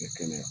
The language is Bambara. Bɛ kɛnɛya